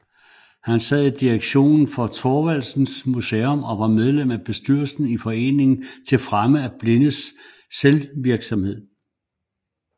Han sad i direktionen for Thorvaldsens Museum og var medlem af bestyrelsen i Foreningen til at fremme Blindes Selvvirksomhed